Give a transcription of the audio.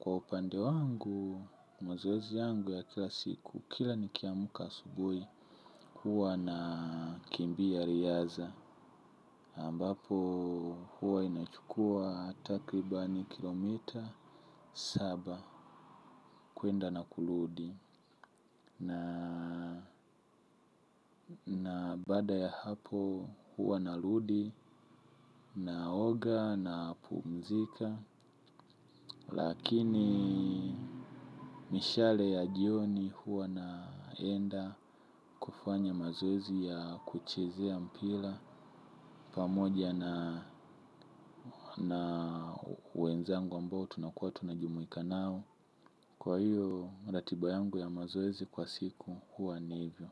Kwa upande wangu, mazoezi yangu ya kila siku, kila ni kiamka asubui huwa na kimbia riaza ambapo huwa inachukua takribani kilometa saba. Kwenda na kurudi na baada ya hapo huwa narudi, na oga, na pumzika lakini mishale ya jioni huwa naenda kufanya mazoezi ya kuchezea mpira pamoja na na wenzangu ambao tunakuwa tunajumuika nao kwa hiyo ratiba yangu ya mazoezi kwa siku huwa ni hivyo.